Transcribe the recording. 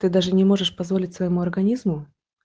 ты даже не можешь позволить своему организму